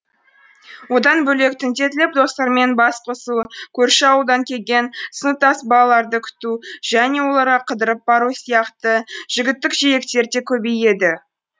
одан бөлек түнделетіп достармен бас қосу көрші ауылдан келген сыныптас балаларды күту және оларға қыдырып бару сияқты жігіттік желіктер де көбейеді